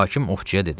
Hakim ovçuya dedi: